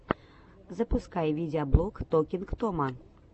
запускай видеоблог токинг тома